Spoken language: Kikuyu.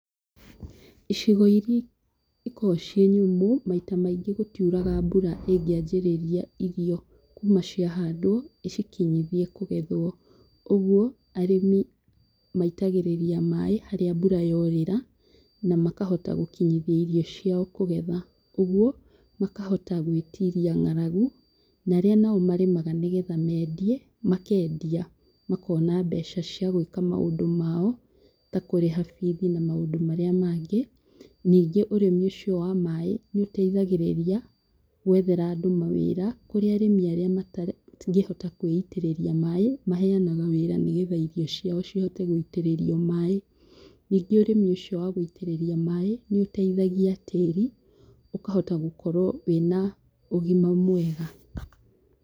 Icigo iria ikoo ciĩ nyũmũ maita maingĩ gũtiuraga mbura ĩngĩanjĩrĩria irio kuma ciahandwo ĩcikinyithie kũgethwo. Ũguo arĩmi maitagĩrĩria maaĩ haria mbura yorĩra na makahota gũkinyithia irio ciao kũgetha ũguo makahota gwĩtiria ng'aragu na aria nao marĩmaga nĩgetha mendie makendia makona mbeca cĩa gwĩka maũndũ mao ta kũrĩha bithi na maũndũ maria mangĩ. Ningĩ ũrĩmi ũcio wa maaĩ nĩũteithagĩrĩria gwethera andũ mawĩra kũri arĩmi arĩa matangĩhota kwĩitĩrĩria maaĩ maheyanaga wĩra nĩgetha irio ciao cihote gũitĩrĩrio maaĩ, ningĩ ũrĩmi ũcio wa gũitĩrĩria maaĩ nĩũteithagia tĩri ũkahota gũkorwo wĩna ũgima mwega.